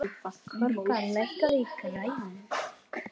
Korka, lækkaðu í græjunum.